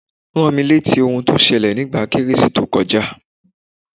Rámi rétí ohun tí ó ṣẹlẹ̀ nígbà kérésì tó kọjá